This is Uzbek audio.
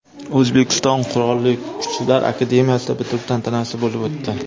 O‘zbekiston Qurolli Kuchlar akademiyasida bitiruv tantanasi bo‘lib o‘tdi .